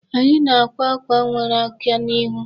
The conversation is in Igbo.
Anyị na-akwa ákwà nwere aka n'ihu.